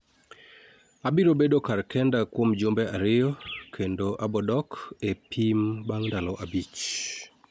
Abiro bedo kar kenda kuom jumbe ariyo kendo abodok e pimbang ndalo abich